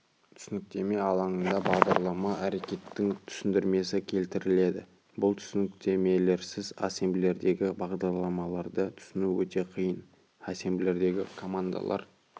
түсініктеме алаңында бағдарлама әрекетінің түсіндірмесі келтіріледі бұл түсініктемелерсіз ассемблердегі бағдарламаларды түсіну өте қиын ассемблердегі командалар